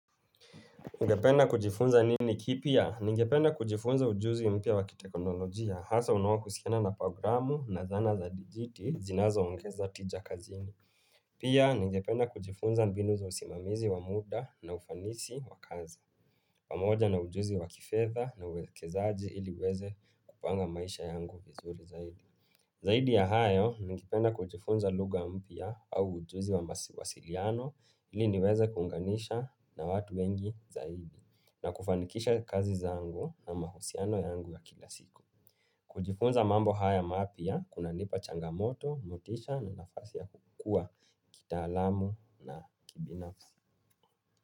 Ungependa kujifunza nini kipya? Ningependa kujifunza ujuzi mpya wakitekonolojia hasa unaoakuhusiana na programu na dhana za dijiti zinazoongeza tija kazini. Pia, ningependa kujifunza mbinu za usimamizi wa muda na ufanisi wa kazi. Pamoja na ujuzi wa kifedha na uekezaji ili uweze kupanga maisha yangu vizuri zaidi. Zaidi ya hayo, ningependa kujifunza lugha mpya au ujuzi wa masiliano ili niweze kuunganisha na watu wengi zaidi. Na kufanikisha kazi zangu na mahusiano yangu ya kila siku. Kujifunza mambo haya mapia, kunanipa changamoto, motisha na nafasi ya kukua kitaalamu na kibinafsi.